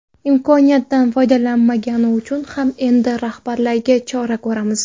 Imkoniyatdan foydalmagani uchun ham endi rahbarlarga chora ko‘ramiz.